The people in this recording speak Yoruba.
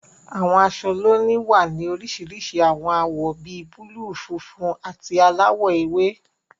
Àwọn aṣọ lónìí wá ní oríṣiríṣi àwọn awọ bí búlúù, funfun, àti aláwọ̀ ewé.